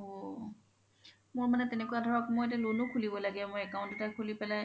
ঔ মোৰ মানে তেনেকুৱা ধৰক মই এতিয়া loan ও খুলিব লাগে মই account এটা খুলি পেলাই